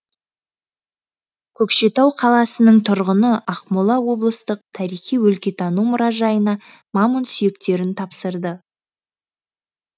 көкшетау қаласының тұрғыны ақмола облыстық тарихи өлкетану мұражайына мамонт сүйектерін тапсырды